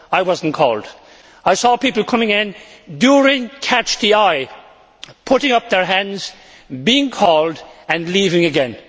I was not called. I saw people coming in, during catch the eye, putting up their hands, being called and leaving again.